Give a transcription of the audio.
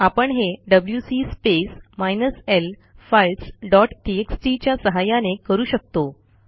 आपण हे डब्ल्यूसी space minus l files dot TXT च्या सहाय्याने करू शकतो